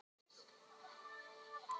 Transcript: Brá þér ekkert við að heyra svona orðbragð?